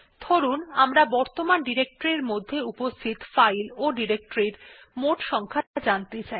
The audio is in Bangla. ধরুন আমরা বর্তমান ডিরেক্টরির মধ্যে উপস্থিত ফাইল ও ডিরেক্টরির মোট সংখ্যা জানতে চাই